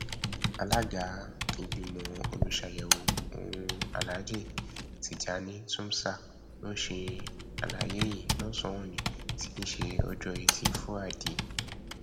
alága ìgbìmọ olùṣàyẹwò ọhún aláàjì tìjàni túmsa ló ṣe àlàyé yìí lọsànán òní tí í ṣe ọjọ etí fúrádìe